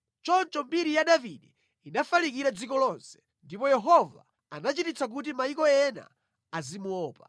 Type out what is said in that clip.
Choncho mbiri ya Davide inafalikira dziko lonse, ndipo Yehova anachititsa kuti mayiko ena azimuopa.